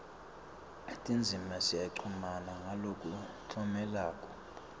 tindzima tiyachumana ngalokuncomekako